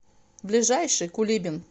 ближайший кулибин